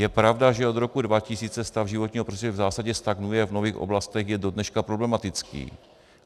Je pravda, že od roku 2000 stav životního prostředí v zásadě stagnuje, v mnohých oblastech je do dneška problematický.